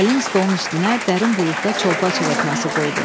Gəlin stolun üstünə dərin buludda çolpa çığırtması qoydu.